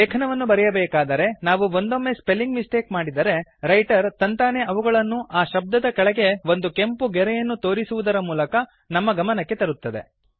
ಲೇಖನವನ್ನು ಬರೆಯಬೇಕಾದರೆ ನಾವು ಒಂದೊಮ್ಮೆ ಸ್ಪೆಲ್ಲಿಂಗ್ ಮಿಸ್ಟೇಕ್ ಮಾಡಿದರೆ ರೈಟರ್ ತಂತಾನೇ ಅವುಗಳನ್ನು ಆ ಶಬ್ದದ ಕೆಳಗೆ ಒಂದು ಕೆಂಪು ಗೆರೆಯನ್ನು ತೋರಿಸುವುದರ ಮೂಲಕ ನಮ್ಮ ಗಮನಕ್ಕೆ ತರುತ್ತದೆ